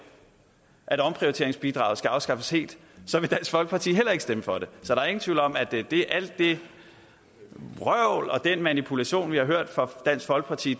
at omprioriteringsbidraget skal afskaffes helt vil dansk folkeparti heller ikke stemme for det så der er ingen tvivl om at alt det vrøvl og den manipulation vi har hørt fra dansk folkeparti